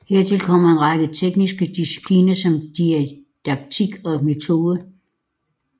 Hertil kommer en række tekniske discipliner som didaktik og metode